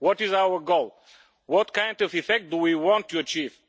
What is our goal? What kind of effect do we want to achieve?